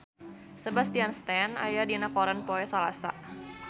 Sebastian Stan aya dina koran poe Salasa